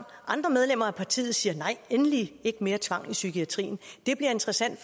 andre medlemmer af partiet siger nej endelig ikke mere tvang i psykiatrien det bliver interessant at